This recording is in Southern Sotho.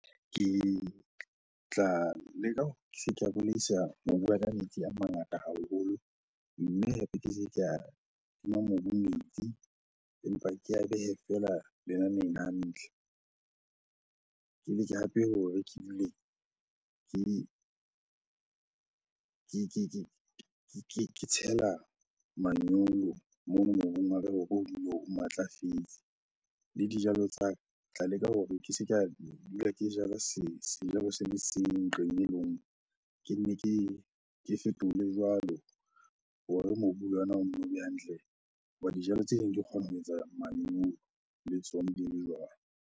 Ke tla leka hore ke se ka bolaisa mobu wa ka metsi a mangata haholo, mme hape ke se ka tima mobu metsi empa ke a behe feela lenaneng hantle. Ke leke hape hore ke dule ke tshela manyolo mono mobung wa ke hore o dule o matlafetse. Le dijalo tsa ke tla leka hore ke se ka dula ke jala sejalo se le seng ntlong e le nngwe, ke nne ke fetole jwalo hore mobu le yona o nno be hantle. Hoba dijalo tse neng di kgona ho etsa manyolo le tsona di le jwalo.